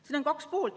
Siin on kaks poolt.